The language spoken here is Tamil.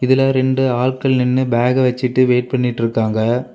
இதுல ரெண்டு ஆட்கள் நின்னு பேக் வச்சுட்டு வெயிட் பண்ணிட்ருக்காங்க.